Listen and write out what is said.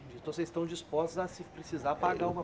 Então vocês estão dispostos a se precisar pagar uma